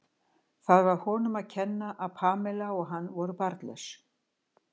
Var það honum að kenna að Pamela og hann voru barnlaus?